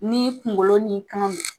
N''i kunkolo n'i kan